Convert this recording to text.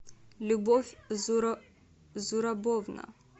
любовь зурабовна